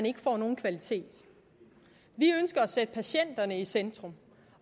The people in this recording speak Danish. ikke får nogen kvalitet vi ønsker at sætte patienterne i centrum